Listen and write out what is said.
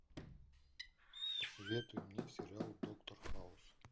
посоветуй мне сериал доктор хаус